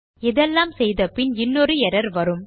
இதெல்லாம் செய்தபின் இன்னொரு எர்ரர் வரும்